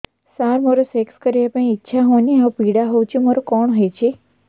ସାର ମୋର ସେକ୍ସ କରିବା ପାଇଁ ଇଚ୍ଛା ହଉନି ଆଉ ପୀଡା ହଉଚି ମୋର କଣ ହେଇଛି